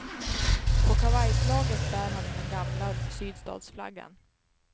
På kavajslaget bär han den gamla sydstatsflaggan.